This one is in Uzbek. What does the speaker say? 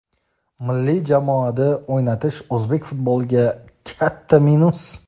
milliy jamoada o‘ynatish o‘zbek futboliga katta minus.